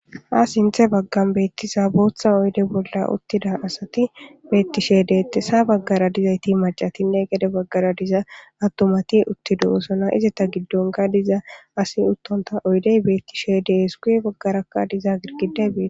Ha sinthe baggani betiza botha oyidde bolla utida assati beteshe detesi , ha baggara maccati gede baggara adeti utidi deyosona. Ha izata gidonika diza asi utonita oyideyi betishe desi guye bagaraka gidigidayi